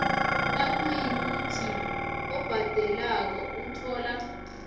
nayikuthi obhadelako uthola